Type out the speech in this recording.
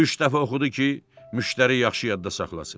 Üç dəfə oxudu ki, müştəri yaxşı yadda saxlasın.